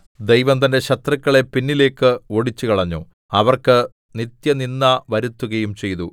ദൈവം തന്റെ ശത്രുക്കളെ പിന്നിലേക്ക് ഓടിച്ചുകളഞ്ഞു അവർക്ക് നിത്യനിന്ദ വരുത്തുകയും ചെയ്തു